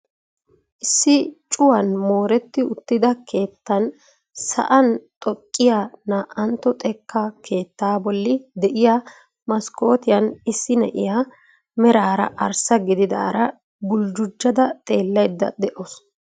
Issi cuwaan mooretti uttida keettan sa'an xoqqiyaa na"antto xekkaa keettaa bolli de'iyaa maskootiyaan issi na'iyaa meraara arssa gididara buljujada xeellayda de'awus.